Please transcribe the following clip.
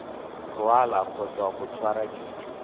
rwala kgotsa go tshwara dijo